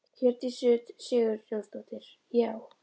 Hjördís Rut Sigurjónsdóttir: Já?